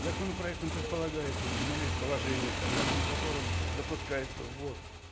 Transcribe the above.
законопроектом предполагается установить положение согласно которым допускается ввоз